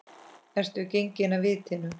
Ertu genginn af vitinu?